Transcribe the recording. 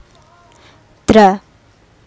Dra